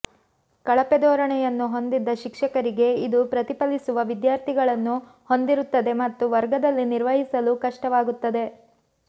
ಕಳಪೆ ಧೋರಣೆಯನ್ನು ಹೊಂದಿದ ಶಿಕ್ಷಕರಿಗೆ ಇದು ಪ್ರತಿಫಲಿಸುವ ವಿದ್ಯಾರ್ಥಿಗಳನ್ನು ಹೊಂದಿರುತ್ತದೆ ಮತ್ತು ವರ್ಗದಲ್ಲಿ ನಿರ್ವಹಿಸಲು ಕಷ್ಟವಾಗುತ್ತದೆ